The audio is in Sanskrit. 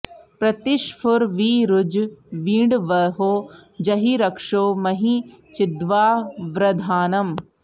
प्रति॑ ष्फुर॒ वि रु॑ज वी॒ड्वंहो॑ ज॒हि रक्षो॒ महि॑ चिद्वावृधा॒नम्